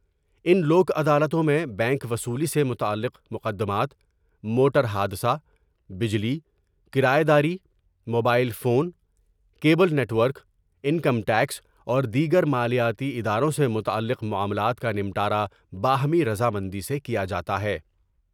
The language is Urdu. ان لوک عدالتوں میں بینک وصولی سے متعلق مقدمات ، موٹر حادثہ بجلی ، کرائے داری ، mobile phone, cable network, income tax اور دیگر مالیاتی اداروں سے متعلق معاملات کا نمٹا را باہمی رضا مندی سے کیا جا تا ہے ۔